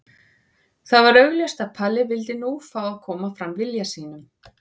Það var augljóst að Palli vildi nú fá að koma fram vilja sínum.